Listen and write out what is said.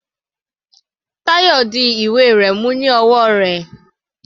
Tayo di ìwé rẹ̀ mú ní ọwọ́ rẹ̀.